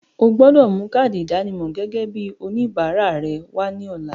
O gbọdọ̀ mú káádì ìdánimọ̀ gẹ́gẹ́ bíi oníbàárà rẹ wá ní ọ̀la.